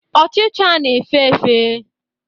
Ọchicha na efe efe